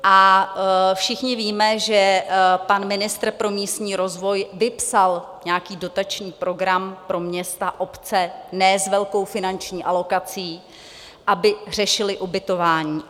A všichni víme, že pan ministr pro místní rozvoj vypsal nějaký dotační program pro města, obce, ne s velkou finanční alokací, aby řešily ubytování.